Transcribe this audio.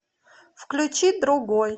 включи другой